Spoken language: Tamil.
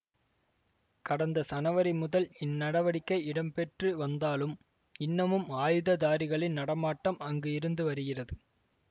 கடந்த சனவரி முதல் இந்நடவடிக்கை இடம்பெற்று வந்தாலும் இன்னமும் ஆயுததாரிகளின் நடமாட்டம் அங்கு இருந்து வருகிறது